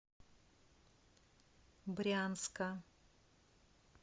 брянска